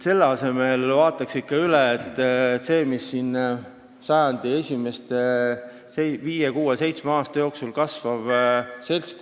Selle asemel vaataks ikka üle selle sajandi esimese viie, kuue või seitsme aasta jooksul kasvanud seltskonna ...